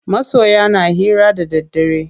Masoya na hira da daddare.